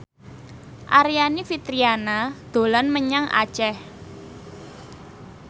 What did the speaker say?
Aryani Fitriana dolan menyang Aceh